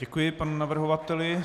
Děkuji panu navrhovateli.